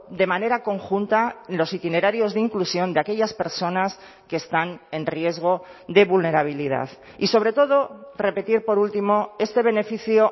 de manera conjunta los itinerarios de inclusión de aquellas personas que están en riesgo de vulnerabilidad y sobre todo repetir por último este beneficio